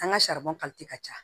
An ka ka ca